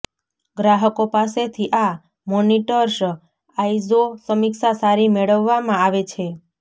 ગ્રાહકો પાસેથી આ મોનિટર્સ આઇઝો સમીક્ષા સારી મેળવવામાં આવે છે